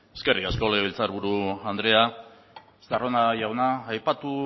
eskerrik asko legebiltzarburu andrea estarrona jauna aipatu